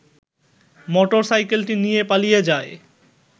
motor সাইকেলটি নিয়ে পালিয়ে যায়